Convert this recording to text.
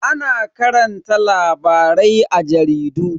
Ana karanta labarai a jaridu.